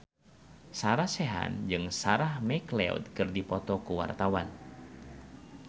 Sarah Sechan jeung Sarah McLeod keur dipoto ku wartawan